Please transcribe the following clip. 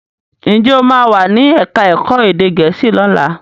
Njé o ma wá ní èka èko èdè gèésì lọla?